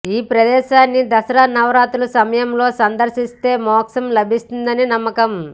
ఈ ప్రదేశాన్ని దసరా నవరాత్రుల సమయంలో సందర్శిస్తే మోక్షం లభిస్తుందని నమ్మకం